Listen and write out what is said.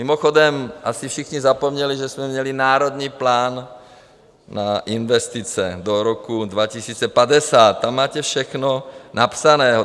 Mimochodem asi všichni zapomněli, že jsme měli Národní plán na investice do roku 2050, tam máte všechno napsané.